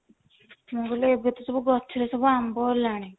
ମୁଁ କହିଲି ଏବେ ତ ସବୁ ଗଛ ରେ ସବୁ ଆମ୍ବ ହେଲାଣି